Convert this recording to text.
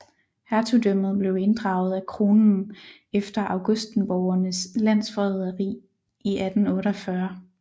Hertugdømmet blev inddraget af kronen efter augustenborgernes landsforræderi i 1848